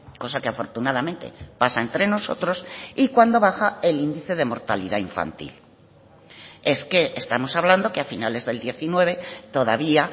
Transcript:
cosa que afortunadamente pasa entre nosotros y cuando baja el índice de mortalidad infantil es que estamos hablando que a finales del diecinueve todavía